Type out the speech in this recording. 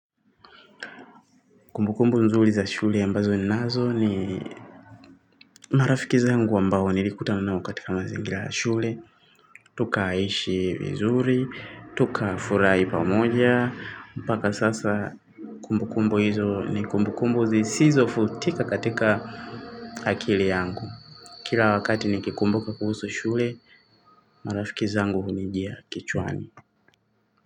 Kumbu kumbu nzuri za shule ambazo ni nazo ni marafiki zangu ambao nilikuta nao katika mazingira ya shule. Tukahishi vizuri, tukafurahi pamoja. Mpaka sasa kumbu kumbu hizo ni kumbu kumbu zisizo futika katika akili yangu. Kila wakati nikikumbuka kuhusu shule, marafiki zangu hunijia kichwani.